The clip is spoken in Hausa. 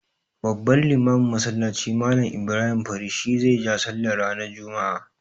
Babban limamin masallacin, Mallam Ibrahim Fari shi zai ja sallah ranar juma'a.